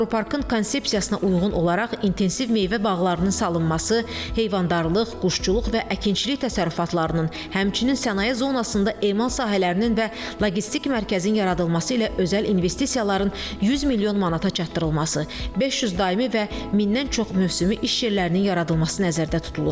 Aqroparkın konsepsiyasına uyğun olaraq intensiv meyvə bağlarının salınması, heyvandarlıq, quşçuluq və əkinçilik təsərrüfatlarının, həmçinin sənaye zonasında emal sahələrinin və logistik mərkəzin yaradılması ilə özəl investisiyaların 100 milyon manata çatdırılması, 500 daimi və 1000-dən çox mövsümü iş yerlərinin yaradılması nəzərdə tutulur.